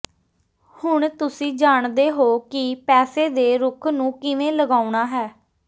ਹੁਣ ਤੁਸੀਂ ਜਾਣਦੇ ਹੋ ਕਿ ਪੈਸੇ ਦੇ ਰੁੱਖ ਨੂੰ ਕਿਵੇਂ ਲਗਾਉਣਾ ਹੈ